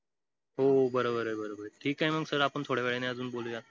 हो बरोबरय बरोबर ठीकय मग sir आपण थोड्या वेळानी अजून बोलूया